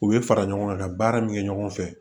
U bɛ fara ɲɔgɔn kan ka baara min kɛ ɲɔgɔn fɛ